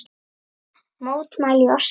Mótmæli í Osló